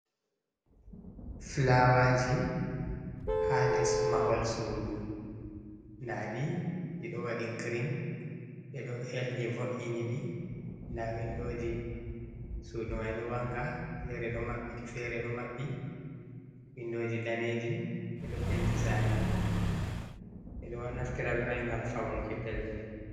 Flawaji ha les mahol sudu nda ɗi, ɗi ɗo waɗi grin ɓe ɗo helni vo’ini ɗi nda windoji sudu mai ɗo wanga fere ɗo maɓɓiti fere ɗo maɓɓi, windoji daneji ɓe ɗo penti sare mai, ɓe ɗo naftira be mai ngam faunuki pellel.